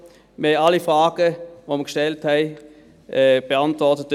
Wir erhielten alle Fragen, die wir gestellt hatten, beantwortet.